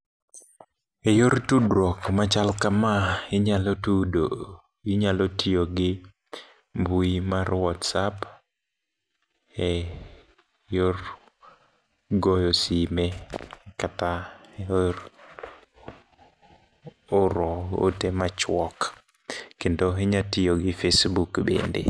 E yor tudruok machal kama, inyalo tudo, inyalo tiyo gi mbui mar WhatsApp e yor goyo sime. Kata e yor oro ote machuok, kendo inya tiyo gi Facebook bende.